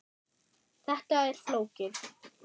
Þetta er flókið.